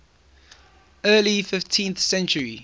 early fifteenth century